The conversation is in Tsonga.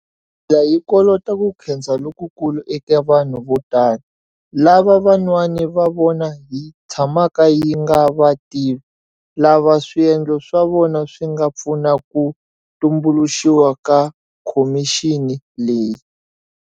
Hi tlhela hi kolota ku khensa lokukulu eka vanhu vo tala, lava van'wana va vona hi tshamaka hi nga va tivi, lava swiendlo swa vona swi nga pfuna ku tumbuluxiwa ka khomixini leyi.